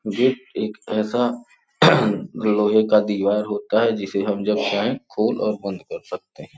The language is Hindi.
ये एक ऐसा लोहे का दीवार होता है जिसे हम जब चाहे खोल और बंद कर सकते हैं।